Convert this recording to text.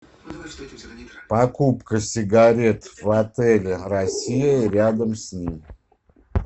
покупка сигарет в отеле россия и рядом с ним